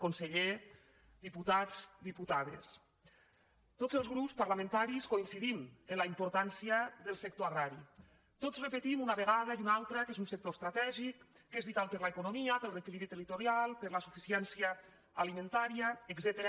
conseller diputats dipu·tades tots els grups parlamentaris coincidim en la im·portància del sector agrari tots repetim una vegada i una altra que és un sector estratègic que és vital per a l’economia per al reequilibri territorial per a la su·ficiència alimentària etcètera